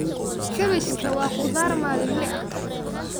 Kaabashka waa qudaar maalinle ah.